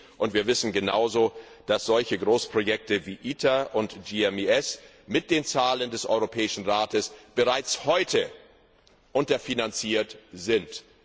Und wir wissen genauso, dass Großprojekte wie ITER und GMES mit den Zahlen des Europäischen Rates bereits heute unterfinanziert sind.